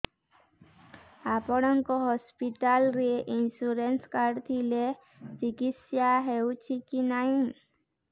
ଆପଣଙ୍କ ହସ୍ପିଟାଲ ରେ insurance card ଥିଲେ ଚିକିତ୍ସା ହେଉଛି କି ନାଇଁ